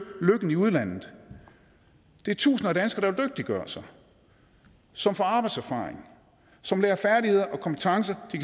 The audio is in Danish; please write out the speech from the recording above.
lykken i udlandet det er tusinder af danskere dygtiggøre sig som får arbejdserfaring som lærer færdigheder og kompetencer de